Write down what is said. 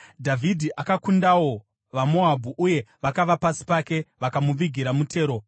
Dhavhidhi akakundawo vaMoabhu, uye vakava pasi pake, vakamuvigira mutero.